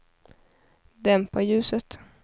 dämpa ljuset